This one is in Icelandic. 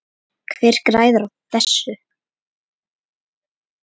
Hver græðir á þessu?